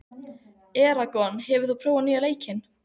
Eragon, hefur þú prófað nýja leikinn?